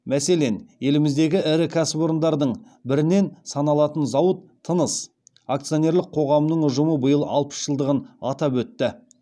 мәселен еліміздегі ірі кәсіпорындардың бірінен саналатын зауыт тыныс акционерлік қоғамының ұжымы биыл алпыс жылдығын атап өтті